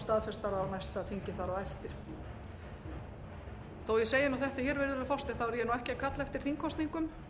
staðfestar á næsta þingi þar á eftir þó ég segi þetta virðulegi forseti þá er ég ekki að kalla eftir þingkosningum